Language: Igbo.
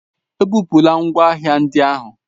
Ebupula ngwa ahịa ndị ahụ.